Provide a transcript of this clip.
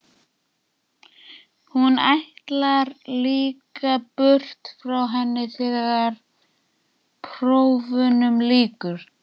Hún ætlar líka burt frá henni þegar prófunum lýkur.